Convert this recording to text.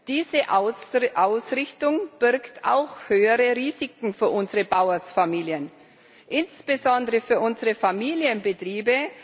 Diese Ausrichtung birgt auch höhere Risiken für unsere Bauernfamilien, insbesondere für unsere Familienbetriebe.